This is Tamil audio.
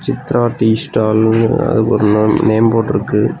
சித்ரா டீ ஸ்டாலு னு ஒரு நன் நேம் போர்டிருக்கு .